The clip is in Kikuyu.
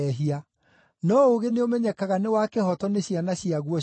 No ũũgĩ nĩũmenyekaga nĩ wa kĩhooto nĩ ciana ciaguo ciothe.”